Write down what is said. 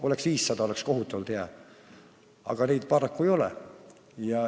Oleks 500, oleks kohutavalt hea, aga neid paraku ei ole.